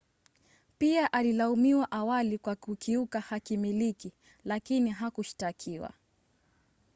pia alilaumiwa awali kwa kukiuka hakimiliki lakini hakushtakiwa